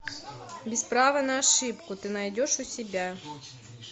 без права на ошибку ты найдешь у себя